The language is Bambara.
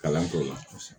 Kalan k'o la kosɛbɛ